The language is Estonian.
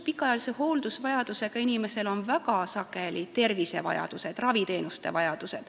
Pikaajalise hooldusvajadusega inimesel on väga sageli ka raviteenuste vajadused.